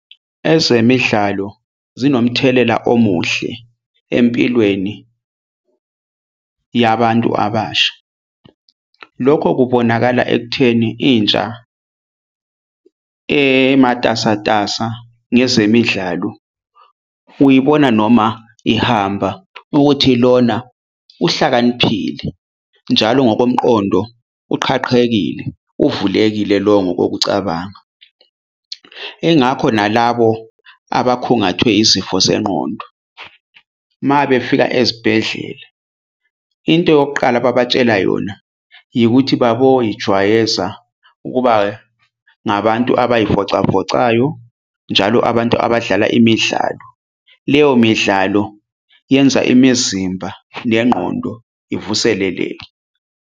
Ezemidlalo zinomthelela omuhle empilweni yabantu abasha. Lokho kubonakala ekutheni intsha ematasatasa ngezemidlalo. Uyibona noma ihamba ukuthi lona uhlakaniphile njalo ngokomqondo uqhaqhekile uvulekile lowo ngokokucabanga ingakho nalabo abakhungathwe izifo zengqondo. Mabefika ezibhedlela into yokuqala ababatshela yona yikuthi baboyijwayeza ukuba ngabantu abayivocavocayo njalo abantu abadlala imidlalo. Leyo midlalo yenza imizimba nengqondo ivuseleleke.